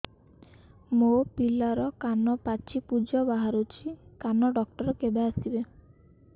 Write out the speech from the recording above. ମୋ ପିଲାର କାନ ପାଚି ପୂଜ ବାହାରୁଚି କାନ ଡକ୍ଟର କେବେ ଆସିବେ